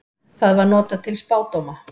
Það var notað til spádóma.